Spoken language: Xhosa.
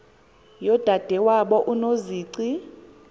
yodade wabo unozici